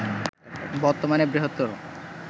বর্তমানে বৃহত্তর